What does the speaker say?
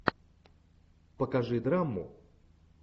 покажи драму